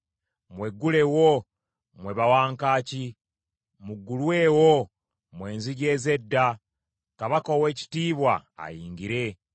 Mweggulewo, mmwe bawankaaki! Muggulwewo, mmwe enzigi ez’edda, Kabaka ow’ekitiibwa ayingire.